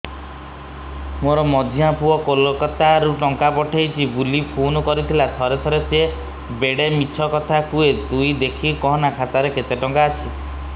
ମୋର ମଝିଆ ପୁଅ କୋଲକତା ରୁ ଟଙ୍କା ପଠେଇଚି ବୁଲି ଫୁନ କରିଥିଲା ଥରେ ଥରେ ସିଏ ବେଡେ ମିଛ କଥା କୁହେ ତୁଇ ଦେଖିକି କହନା ଖାତାରେ କେତ ଟଙ୍କା ଅଛି